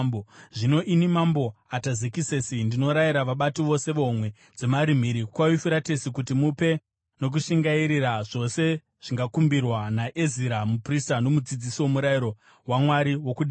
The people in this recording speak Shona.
Zvino ini, Mambo Atazekisesi, ndinorayira vabati vose vehomwe dzemari mhiri kwaYufuratesi kuti mupe nokushingairira zvose zvingakumbirwa naEzira muprista nomudzidzisi woMurayiro waMwari wokudenga,